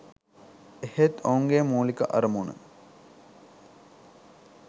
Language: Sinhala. එහෙත් ඔවුන්ගේ මුලික අරමුණ